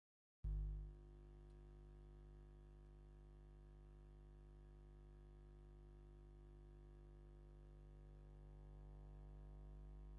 ኣብ ኣዲስ ኣበባ ዝርከብ ናይ ባቡር መንገዲ ን ዕባይ ሕንፃ የመላክት ኣብቲ ዙርያ ዓብዪ ህንፃ ብዙሓት ፉቃት መኪና ይርከቡ ።